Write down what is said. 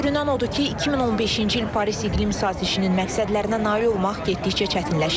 Görünən odur ki, 2015-ci il Paris iqlim sazişinin məqsədlərinə nail olmaq getdikcə çətinləşir.